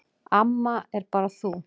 Amma er bara þú.